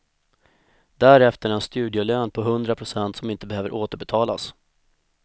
Därefter en studielön på hundra procent som inte behöver återbetalas.